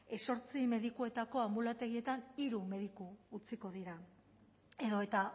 zortzi medikuetarako anbulategietan hiru mediku utziko dira edota